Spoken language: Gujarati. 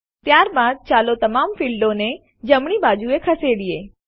ત્યારબાદ ચાલો તમામ ફીલ્ડો ક્ષેત્રોને જમણી બાજુએ ખસેડીએ